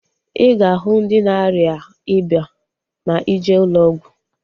I ga-ahu ndị na-arịa ịba ma ije ụlọ ọgwụ